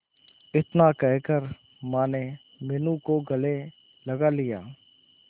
इतना कहकर माने मीनू को गले लगा लिया